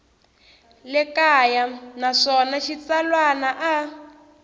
le kaya naswona xitsalwana a